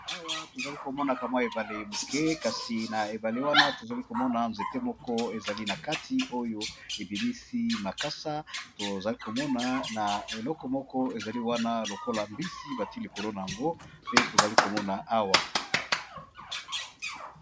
Awa tozali komona ,kamwa ebale moke kasi na ebale wana tozali komona nzete moko ezali na kati oyo ebimisi makasa tozaliomoana eleko moko ezali wana lokola mbisi batilikolo na yango nde tozali komona awa.